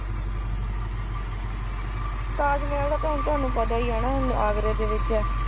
ਤਾਜ ਮਹਿਲ ਦਾ ਤਾਂ ਤੁਹਾਨੂੰ ਪਤਾ ਹੀ ਆ ਨਾ ਆਗਰੇ ਦੇ ਵਿੱਚ ਆ